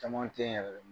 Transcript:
Caman teyi yɛrɛ de